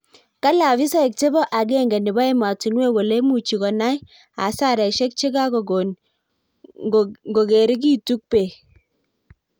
Kale afisaek chebo agenge nebo ematinuek kole imuchi konai hasaraishek chekagogon ngongerigitu bek.